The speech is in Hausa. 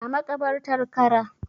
A makabartar Kara